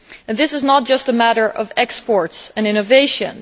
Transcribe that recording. This is not just a matter of exports and innovations.